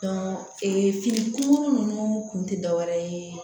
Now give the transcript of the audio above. ee fini ko ninnu kun tɛ dɔ wɛrɛ ye